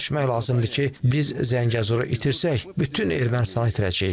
Başa düşmək lazımdır ki, biz Zəngəzuru itirsək, bütün Ermənistanı itirəcəyik.